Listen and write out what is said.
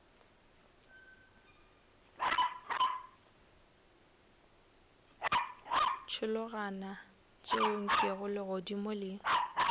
tšhologana tšeo nkego legodimo le